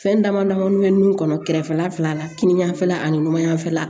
Fɛn dama damanin bɛ nun kɔnɔ kɛrɛfɛla fila la kininganfɛla ani numan yanfɛla